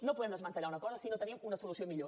no podem desmantellar una cosa si no tenim una solució millor